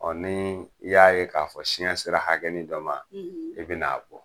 Ɔ ni i y'a ye k'a fɔ siɲɛ sera hakɛ dɔ ma i bɛ na a bɔ